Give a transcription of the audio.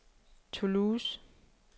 Toulouse